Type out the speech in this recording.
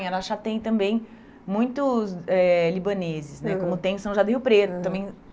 Em Araxá tem também muitos eh libaneses né, como tem em São Jardim do Rio Preto também.